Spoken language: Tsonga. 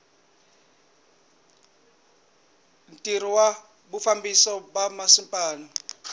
ntirho wa vufambisi bya masipala